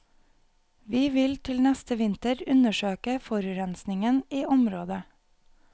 Vi vil til neste vinter undersøke forurensingen i området.